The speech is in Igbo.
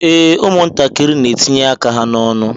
Ee, ụmụ ntakịrị n'etinye aka ha n'ọnụ.